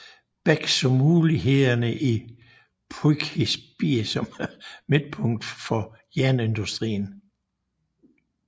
Bech så mulighederne i Poughkeepsie som midtpunkt for jernindustrien